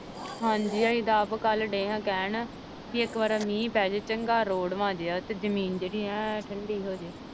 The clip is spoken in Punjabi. ਹਾਂਜੀ ਅਸੀਂ ਤਾਂ ਆਪ ਕੱਲ੍ਹ ਡਏ ਹਾਂ ਕਹਿਣ ਕਿ ਇੱਕ ਵਾਰ ਮੀਂਹ ਪੈ ਜਾਏ ਚੰਗਾ ਰੋੜਵਾਂ ਜਿਹਾ ਤੇ ਜ਼ਮੀਨ ਜਿਹੜੀ ਐਂ ਠੰਢੀ ਹੋ ਜਾਏ।